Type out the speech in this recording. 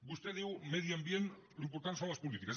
vostè diu medi ambient l’important són les polítiques